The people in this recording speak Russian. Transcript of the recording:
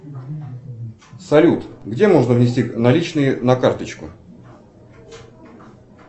салют где можно внести наличные на карточку